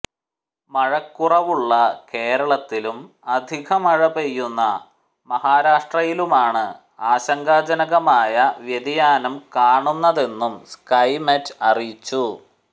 മഴക്കുറവുള്ള കേരളത്തിലും അധികമഴ പെയ്യുന്ന മഹാരാഷ്ട്രയിലുമാണ് ആശങ്കാജനകമായ വ്യതിയാനം കാണുന്നതെന്നും സ്കൈമെറ്റ് അറിയിച്ചു